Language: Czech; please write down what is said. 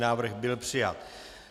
Návrh byl přijat.